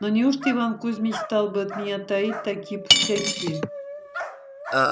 но неужто иван кузьмич стал бы от меня таить такие пустяки